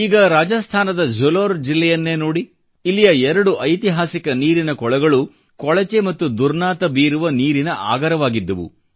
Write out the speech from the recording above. ಈಗ ರಾಜಾಸ್ಥಾನದ ಝಾಲೋರ್ ಜಿಲ್ಲೆಯನ್ನೇ ನೋಡಿ ಇಲ್ಲಿಯ ಎರಡು ಐತಿಹಾಸಿಕ ನೀರಿನ ಕೊಳಗಳು ಕೊಳಚೆ ಮತ್ತು ದುರ್ನಾತ ಬೀರುವ ನೀರಿನ ಆಗರವಾಗಿದ್ದವು